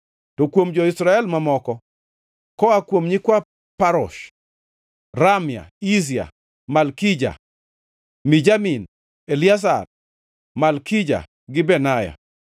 To kuom jo-Israel mamoko: Koa kuom nyikwa Parosh: Ramia, Izia, Malkija, Mijamin, Eliazar, Malkija gi Benaya.